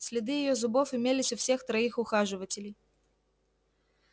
следы её зубов имелись у всех троих ухаживателей